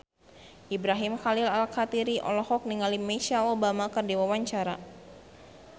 Ibrahim Khalil Alkatiri olohok ningali Michelle Obama keur diwawancara